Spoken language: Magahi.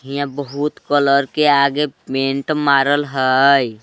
इन्हां बहुत कलर के आगे पेंट मारल हई।